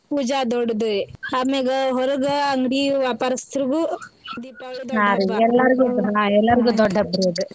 ಪೂಜಾ ದೊಡ್ಡದ್ರಿ ಆಮ್ಯಾಗ ಹೊರಗ ಅಂಗಡಿ ವ್ಯಾಪಾರ್ಯಸ್ತರಿಗೂ ದೀಪಾಳಿ ದೊಡ್ಡ ಹಬ್ಬಾ .